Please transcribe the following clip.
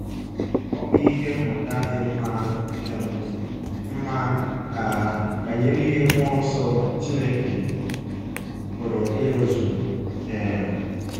Ọ bụ ihe mmụta dị mma um mma um banyere ihe mmụọ nsọ Chineke pụrụ ịrụzu. um